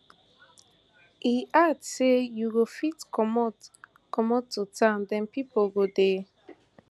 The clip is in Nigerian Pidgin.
im add say you go fit comot comot to town den pipo go dey